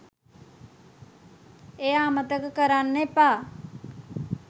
එය අමතක කරන්න එපා